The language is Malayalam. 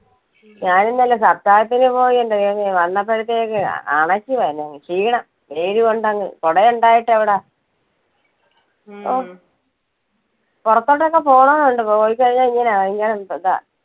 ഞാൻ ഇന്നലെ സൽക്കാരത്തിന് പോയി എന്റെ ദെയ്‌വമേ വന്നപ്പോഴത്തേക്കും അ~അണച്ചുപോയി അങ്ങ് ഷീണം വെയിലുകൊണ്ട് അങ്ങ് കുടയുണ്ടായിട്ട് എവിടാ ഓഹ് പുറത്തോട്ട് ഒക്കെ പോണം എന്നുണ്ട് പോയി കഴിഞ്ഞ ഇങ്ങനെ ഭയങ്കര ഇതാ.